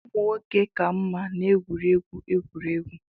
Ụmụ nwoke ka mma n'egwuregwu egwuregwu